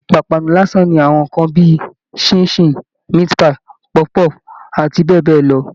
Ìpápánu lásán ni àwọn nǹkan bí i ṣín-in-ṣìn, meat-pie, pọfu-pọ́ọ̀fù àti bẹ́ẹ̀ bẹ́ẹ̀ lọ